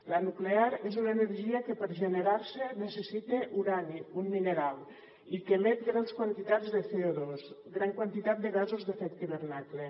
la nuclear és una energia que per generar se necessita urani un mineral i que emet grans quantitats de cogasos d’efecte hivernacle